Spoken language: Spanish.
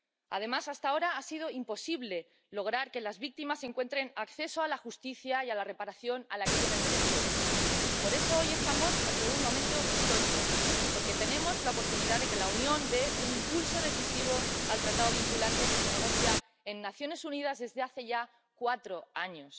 Además, hasta ahora ha sido imposible lograr que las víctimas encuentren acceso a la justicia y a la reparación a las que tienen derecho. Por eso, hoy estamos ante un momento histórico, porque tenemos la oportunidad de que la Unión dé un impulso decisivo al tratado vinculante que se negocia en las Naciones Unidas desde hace ya cuatro años.